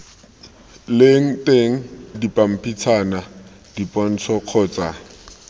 leng teng dipampitshana dipontsho kgotsa